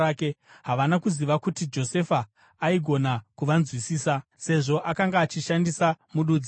Havana kuziva kuti Josefa aigona kuvanzwisisa, sezvo akanga achishandisa mududziri.